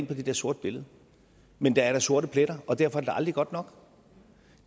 på det der sorte billede men der er da sorte pletter og derfor er det da aldrig godt nok